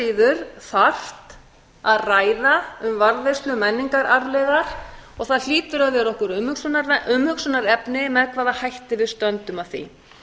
síður þarft að ræða um varðveislu menningararfleifðar og það hlýtur að vera okkur umhugsunarefni með hvaða hætti við stöndum að því